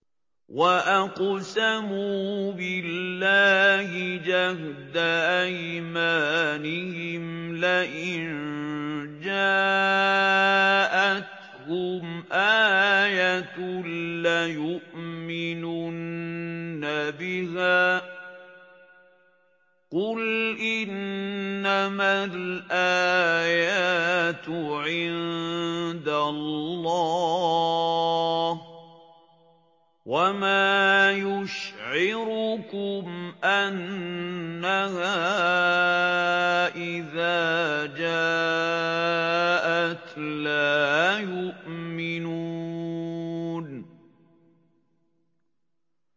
وَأَقْسَمُوا بِاللَّهِ جَهْدَ أَيْمَانِهِمْ لَئِن جَاءَتْهُمْ آيَةٌ لَّيُؤْمِنُنَّ بِهَا ۚ قُلْ إِنَّمَا الْآيَاتُ عِندَ اللَّهِ ۖ وَمَا يُشْعِرُكُمْ أَنَّهَا إِذَا جَاءَتْ لَا يُؤْمِنُونَ